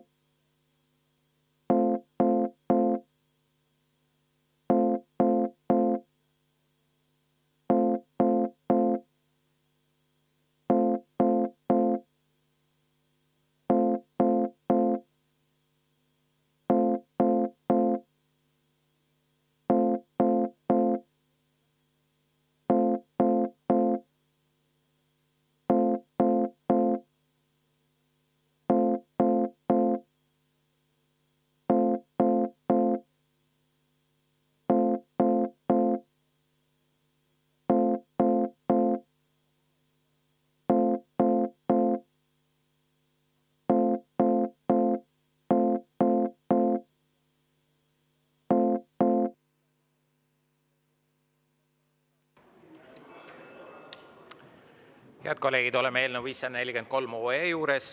Head kolleegid, oleme eelnõu 543 juures.